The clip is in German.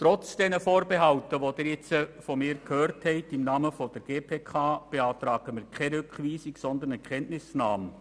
Trotz dieser Vorbehalte, die Sie von mir im Namen der GPK gehört haben, beantragen wir keine Rückweisung, sondern eine Kenntnisnahme.